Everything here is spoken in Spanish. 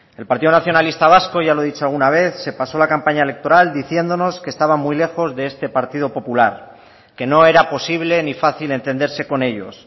el partido nacionalista vasco ya lo he dicho alguna vez se pasó la campaña electoral diciéndonos que estaba muy lejos de este partido popular que no era posible ni fácil entenderse con ellos